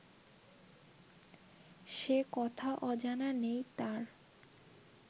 সে কথা অজানা নেই তার